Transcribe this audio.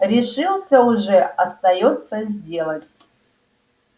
решился уже остаётся сделать